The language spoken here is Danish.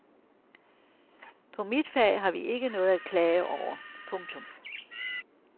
På mit fag har vi ikke noget at klage over. punktum